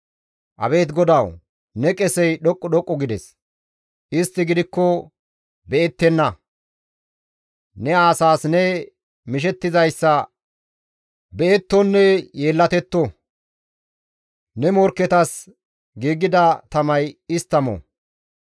Abeet GODAWU! Ne qesey dhoqqu dhoqqu gides. Istti gidikko be7ettenna; Ne asaas ne mishettizayssa be7ettonne yeellatetto; Ne morkketas giigida tamay istta mo.